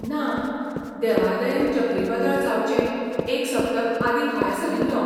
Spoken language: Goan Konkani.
ना, देवादयेन चक्रीवादळ जावचे एक सप्तक आदीं भायर सरिल्लों.